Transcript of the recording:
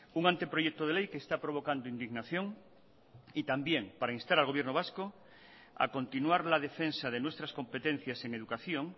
un anteproyecto de ley que está provocando indignación y también para instar al gobierno vasco a continuar la defensa de nuestras competencias en educación